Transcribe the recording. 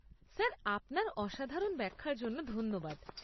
Sir আপনার অসাধারণ ব্যাখ্যার জন্য ধন্যবাদ।